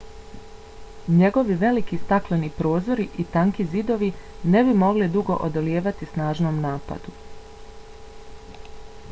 njegovi veliki stakleni prozori i tanki zidovi ne bi mogli dugo odolijevati snažnom napadu